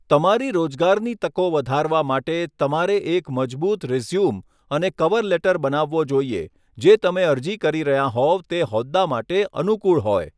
તમારી રોજગારની તકો વધારવા માટે, તમારે એક મજબૂત રીઝ્યૂમ અને કવર લેટર બનાવવો જોઈએ જે તમે અરજી કરી રહ્યાં હોવ તે હોદ્દા માટે અનુકુળ હોય.